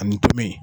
Ani tomi